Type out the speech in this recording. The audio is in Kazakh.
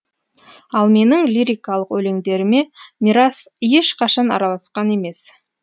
ал менің лирикалық өлеңдеріме мирас ешқашан араласқан емес